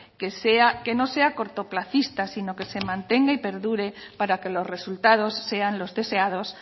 que no sea cortoplacista sino que se mantenga y perdure para que los resultados sean los deseados